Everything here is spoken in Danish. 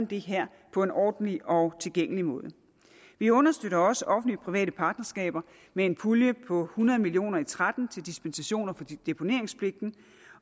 det her på en ordentlig og tilgængelig måde vi understøtter også offentlig private partnerskaber med en pulje på hundrede million og tretten til dispensationer for deponeringspligten